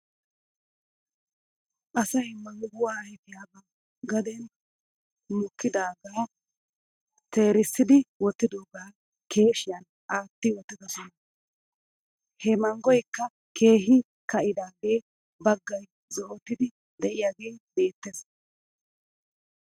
Asay mangguwaa ayfiyaa ba gaden mokkidaagaa teerissidi wottidoogaa keeshiyan aati wottidosona. He manggoykka keehi ka'idaagee bagga zo'otiiddi diyaagee beettes .